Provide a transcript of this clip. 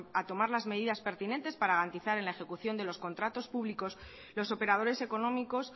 a tomar las medidas pertinentes para garantizar en la ejecución de los contratos públicos que los operadores económicos